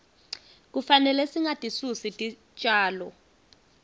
kufanele singatisusi titjalo